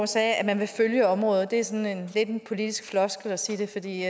sagde at man vil følge området det er sådan lidt en politisk floskel at sige det for det